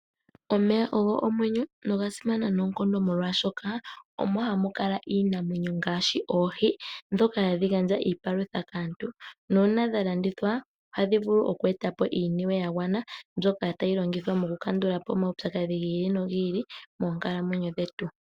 Omeya ogo omwenyo noga simana noonkondo molwaashoka omo ha mu kala iinamwenyo ngaashi oohi ndhoka hadhi gandja iipalutha kaantu nuuna dha landithwa ohadhi vulu oku eta po iiniwe ya gwana mbyoka tayi longithwa okukandula po omaupyakadhi gi ili nogi ili moonkalamwenyo dhetu.